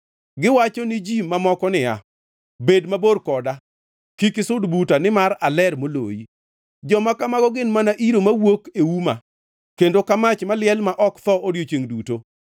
giwacho ni ji mamoko niya, ‘Bed mabor koda; kik isud buta, nimar aler moloyi!’ Joma kamago gin mana iro mawuok e uma kendo ka mach maliel ma ok tho odiechiengʼ duto.